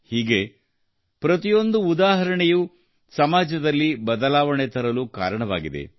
ಹೀಗೆ ಪ್ರತಿಯೊಂದು ಉದಾಹರಣೆಯೂ ಸಮಾಜದ ಬದಲಾವಣೆ ತರಲು ಕಾರಣವಾಗಿದೆ